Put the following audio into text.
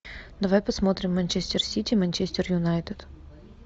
давай посмотрим манчестер сити манчестер юнайтед